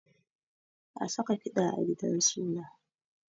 An saka kiɗa a gidan suna